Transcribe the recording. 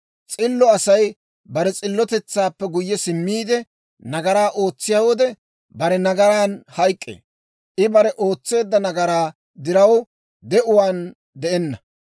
S'illo Asay bare s'illotetsaappe guyye simmiide, nagaraa ootsiyaa wode, bare nagaraan hayk'k'ee. I bare ootseedda nagaraa diraw de'uwaan de'enna.